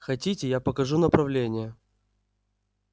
хотите я покажу направление